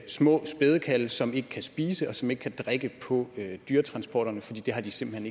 små spædekalve som ikke kan spise og som ikke kan drikke på dyretransporterne fordi det har de simpelt